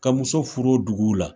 Ka muso furu o dugu la.